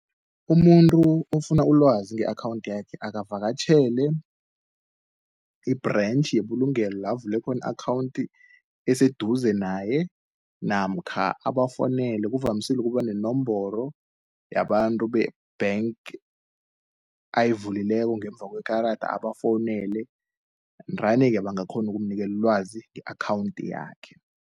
Umuntu ofuna ulwazi nge-akhawunthi yakhe, akavakatjhele i-branch yebulugelo lavule khoni i-akhawunti eseduze naye, namkha abafounele kuvamisile ukuba nenomboro, yabantu bank ayivulileko ngemva kwekarada, abafowunele ndani-ke bangakghonu ukumnikelulwazi nge-akhawunthi yakhe.